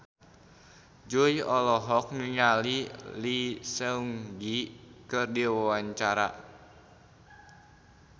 Jui olohok ningali Lee Seung Gi keur diwawancara